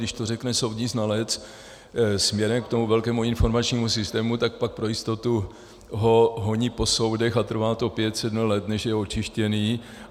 Když to řekne soudní znalec směrem k tomu velkému informačnímu systému, tak pak pro jistotu ho honí po soudech a trvá to pět sedm let, než je očištěný.